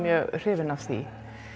hrifin af því